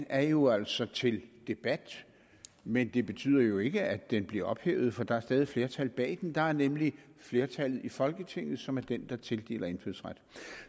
er jo altså til debat men det betyder jo ikke at den bliver ophævet for der er stadig flertal bag den der er nemlig flertallet i folketinget som er den der tildeler indfødsret